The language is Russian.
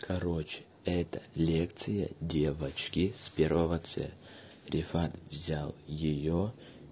короче это лекция девочки с первого ц рефат взял её